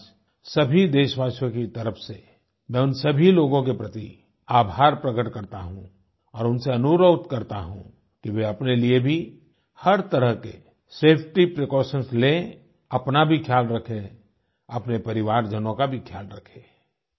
आज सभी देशवासियों की तरफ से मैं उन सभी लोगों के प्रति आभार प्रकट करता हूँ और उनसे अनुरोध करता हूँ कि वे अपने लिए भी हर तरह के सेफटी प्रीकॉशंस लें अपना भी ख्याल रखें अपने परिवारजनों का भी ख्याल रखें